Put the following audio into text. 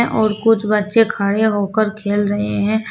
और कुछ बच्चे खड़े होकर खेल रहे हैं।